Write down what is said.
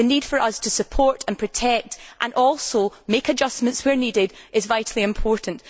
The need for us to support and protect, and also to make adjustments where necessary, is vitally important.